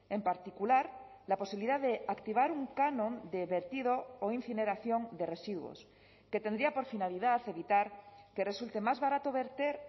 en particular la posibilidad de activar un canon de vertido o incineración de residuos que tendría por finalidad evitar que resulte más barato verter